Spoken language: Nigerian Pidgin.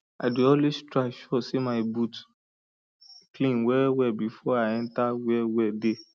i dey always try sure say my boot clean well well before i enter where well dey